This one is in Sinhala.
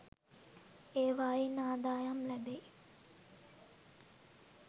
ඒවායින් ආදායම් ලැබෙයි.